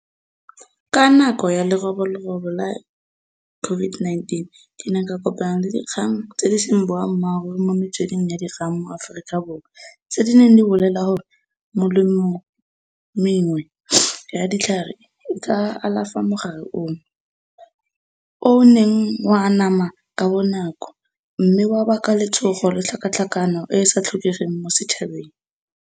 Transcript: Ka nako ya leroborobo la COVID-19 ke ne ka kopana le dikgang tse di seng boammaaruri mo metsweding ya dikgang mo Aforika Borwa, tse di neng di bolela gore molemong mengwe ya ditlhare e ka alafa mogare ono. O o neng wa anama ka bonako mme wa baka letshogo le tlhakatlhakano e sa tlhokegeng mo setšhabeng.